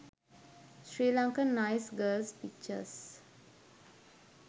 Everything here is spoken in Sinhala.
sri lankan nice girls pictures